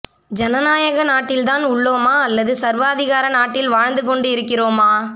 ஜனநாயக நாட்டில் தான் உள்ளோமா அல்லது சர்வாதிகார நாட்டில் வாழ்ந்து கொண்டு இருக்கிறோமா